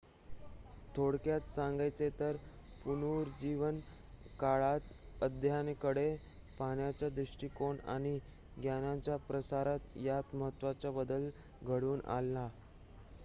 थोडक्यात सांगायचे तर पुनरुज्जीवन काळात अध्ययना कडे पाहण्याचा दृष्टीकोन आणि ज्ञानाचे प्रसारण यात महत्वाचा बदल घडवून आणला